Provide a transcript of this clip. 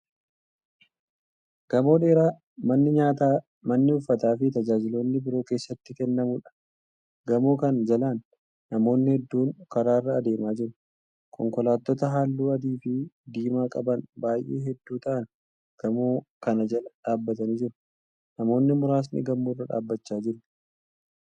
Gamoo dheeraa manni nyaataa, manni uffataafi tajaajiloonni biroo keessatti kennamuudha. gamoo Kan jalaan namoonni hedduun karaarra adeemaa jiru. konkolaattota halluu adiifi diimaa qaban baay'ee hedduu ta'an gamoo Kana Jala dhaabatanii jiru. namoonni muraasni gamoorra dhaabachaa jiru.